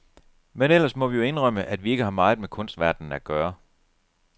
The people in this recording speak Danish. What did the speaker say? Men ellers må vi jo indrømme, at vi ikke har meget med kunstverdenen at gøre.